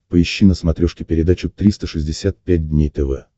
поищи на смотрешке передачу триста шестьдесят пять дней тв